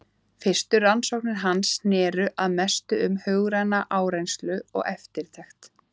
Fyrstu rannsóknir hans snerust að mestu um hugræna áreynslu og eftirtekt.